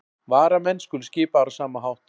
Varamenn skulu skipaðir á sama hátt